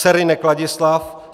Serynek Ladislav